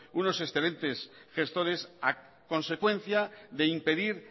unos excelentes gestores a consecuencia de impedir